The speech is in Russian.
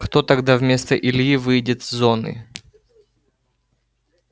кто тогда вместо ильи выйдет с зоны